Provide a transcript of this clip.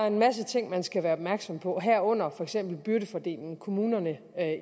en masse ting man skal være opmærksom på herunder for eksempel byrdefordelingen kommunerne